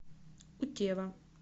утева